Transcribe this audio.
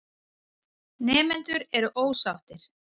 Nemendur eru ósáttir.